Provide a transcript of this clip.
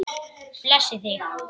Blessi þig.